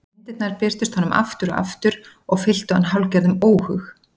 Myndirnar birtust honum aftur og aftur og fylltu hann hálfgerðum óhug.